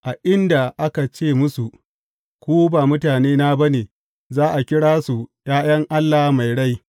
A inda aka ce musu, Ku ba mutanena ba ne,’ za a kira su ’ya’yan Allah mai rai.’